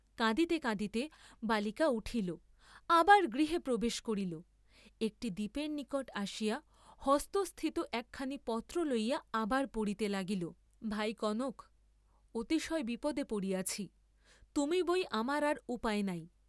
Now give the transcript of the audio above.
কাঁদিতে কাঁদিতে বালিকা উঠিল, আবার গৃহে প্রবেশ করিল, একটী দীপের নিকট আসিয়া হস্তস্থিত একখানি পত্র লইয়া আবার পড়িতে লাগিল, ভাই কনক, অতিশয় বিপদে পড়িয়াছি, তুমি বই আমার আর উপায় নাই।